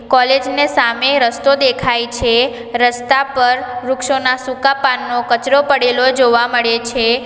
College ને સામે રસ્તો દેખાય છે રસ્તા પર વૃક્ષોના સૂકા પાનનો કચરો પડેલો જોવા મળે છે.